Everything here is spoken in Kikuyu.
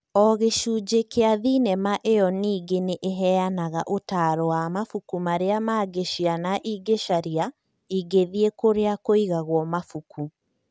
o gĩcunjĩ kĩa thenema ĩyo ningĩ nĩ ĩheanaga ũtaaro wa mabuku marĩa mangĩ ciana ingĩcaria ingĩthiĩ kũrĩa kũigagwo mabuku